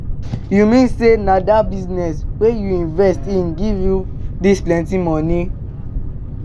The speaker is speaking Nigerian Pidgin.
You mean say na dat business wey you invest in give you dis plenty money.